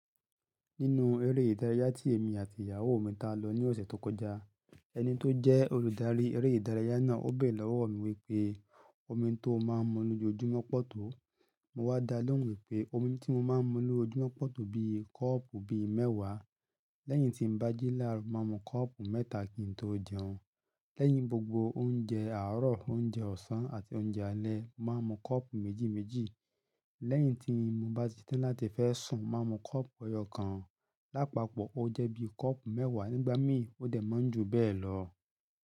Nínú eré ìdárayá tí èmi àti ìyàwó mi ta lọ ní ọ̀sẹ̀ tó kọjá, ẹni tó jẹ́ olùdarí eré ìdárayá náà ó bẹ̀re lọ́wọ́ mi wípé omi tó máa ń mu lójoojúmọ́pọ̀ poto. Mo wá dá lóhùn wípé omi tí mo máa ń mu lójoojúmọ́ poto bí i kọ́ọ̀pù bíi mẹ́wàá. Lẹ́yìn tí n bá jí láárọ̀, mo màá mu kọ́ọ̀pù mẹ́ta kí n tó jẹun. Lẹ́yìn gbogbo oúnjẹ àárọ̀, oúnjẹ ọ̀sán àti oúnjẹ alẹ́, màá mu kọ́ọ̀pù méjì méjì. Lẹ́yìn tí mo bá ti setan láti fẹ́ sùn, mo màá mu kọ́ọ̀pù eyọ́ kan. Lápapọ̀, ó jẹ́ bí i kọ́ọ̀pù mẹ́wàá nígbà míì ó dẹ̀ máa ń jù bẹ́ẹ̀ lọ.